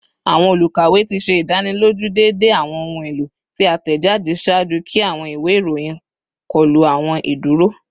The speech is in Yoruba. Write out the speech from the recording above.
Awọn olukawe ti ṣe idaniloju deede awọn ohun elo ti a tẹjade ṣaaju ki awọn iwe iroyin kọlu awọn iduro